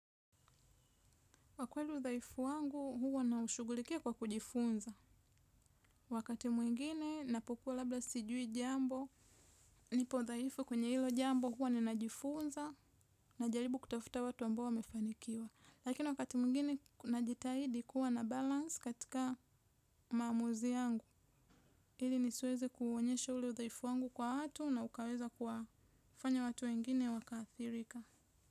Kwa kweli dhaifu wangu huwa naushughulikia kwa kujifunza. Wakati mwingine napokuwa labda sijui jambo. Nipo dhaifu kwenye hilo jambo huwa ninajifunza najaribu kutafuta watu ambao wamefanikiwa. Lakini wakati mwingine najitahidi kuwa na balance katika maamuzi yangu. Ili nisiweze kuuonyesha ule udhaifu wangu kwa watu na ukaweza kufanya watu wengine wakaathirika.